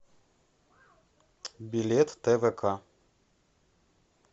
билет твк